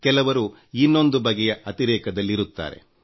ಕೆಲವರು ಇನ್ನೊಂದು ಬಗೆಯ ಅತಿರೇಕದಲ್ಲಿರುತ್ತಾರೆ